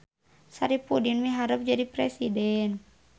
Saripudin miharep jadi presiden